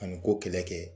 Ani ko kɛlɛ kɛ